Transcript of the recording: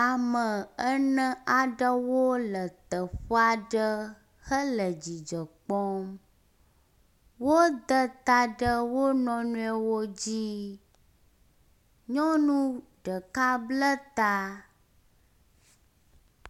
Ame ene aɖewo le teƒea aɖe hele dzidzɔ kpɔm. Wode ta ɖe wo nɔewoe dzi. Nyɔnu ɖeka bla ta